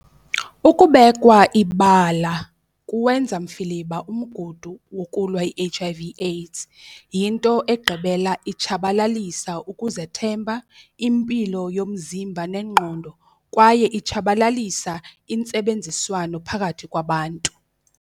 Ukubekwa ibala kuwenza mfiliba umgudu wokulwa i-H_I_V AIDS, yinto egqibela itshabalalisa ukuzethemba impilo yomzimba nengqondo, kwaye itshabalalisa intsebenziswano phakathi kwabantu.